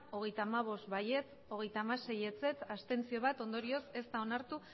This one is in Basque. hogeita hamabost ez hogeita hamasei abstentzioak bat ondorioz ez da onartu